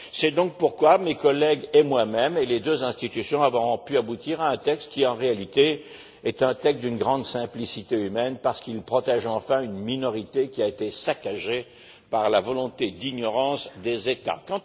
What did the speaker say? C'est pourquoi mes collègues, moi même et les deux institutions avons pu aboutir à un texte qui, en réalité, est d'une grande simplicité humaine, parce qu'il protège enfin une minorité qui a été saccagée par la volonté d'ignorance des États.